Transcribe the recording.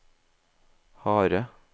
harde